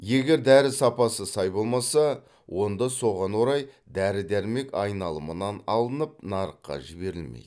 егер дәрі сапасы сай болмаса онда соған орай дәрі дәрмек айналымынан алынып нарыққа жіберілмейді